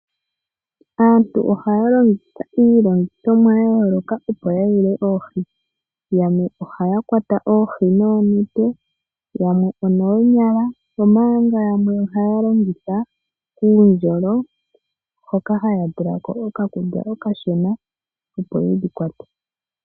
Aantu ohaya longitha iilongithomwa ya yooloka opo yuule oohi. Yamwe ohaya kwata oohi noonete, yamwe onoonyala omanga yamwe ohaya longitha uundjolo, hoka haya tula ko okakunde okashona opo yedhi kwate.